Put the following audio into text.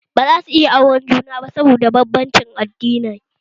Ba zasu iya auren juna ba saboda banbancin addini